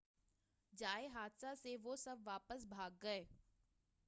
جائے حادثہ سے وہ سب واپس بھاگ گئے